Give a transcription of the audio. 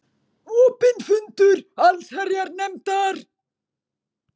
Opinn fundur allsherjarnefndar